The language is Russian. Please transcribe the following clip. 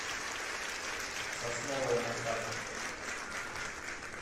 сосновая на карте